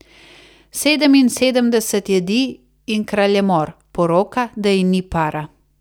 Sedeminsedemdeset jedi in kraljemor, poroka, da ji ni para.